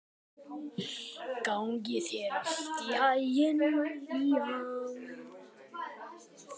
Gangi þér allt í haginn, Liam.